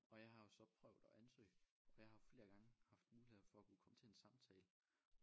Og jeg har jo så prøvet at ansøge og jeg har flere gange haft muligheder for at kunne komme til en samtale